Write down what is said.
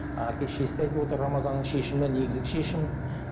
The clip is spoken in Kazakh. әке шешесі де айтып отыр рамазанның шешімі негізгі шешім